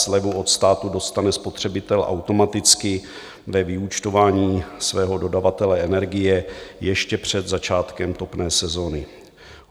Slevu od státu dostane spotřebitel automaticky ve vyúčtování svého dodavatele energie ještě před začátkem topné sezony.